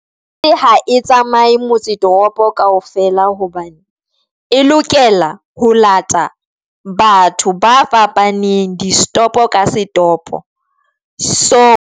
Ha e tsamaye motse toropo kaofela hobane e lokela ho lata batho ba fapaneng disetopo ka setopo, so.